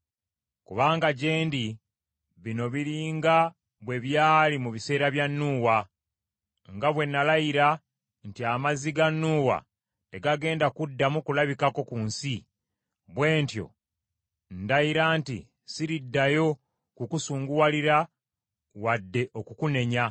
“Kubanga gye ndi, bino biri nga bwe byali mu biseera bya Nuuwa. Nga bwe nalayira nti amazzi ga Nuuwa tegagenda kuddamu kulabikako ku nsi, bwe ntyo ndayira nti siriddayo kukusunguwalira wadde okukunenya.